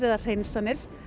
eða hreinsanir